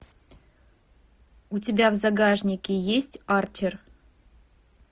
у тебя в загашнике есть арчер